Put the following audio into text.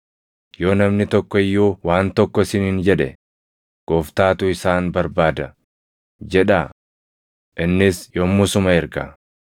Yoo namni tokko iyyuu waan tokko isiniin jedhe, ‘Gooftaatu isaan barbaada’ jedhaa; innis yommusuma erga.”